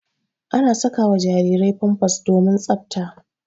Ana saka wa jarirai pampas domin tsaɓta.